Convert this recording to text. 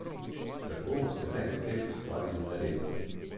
Tako boste nehote ustvarili nered.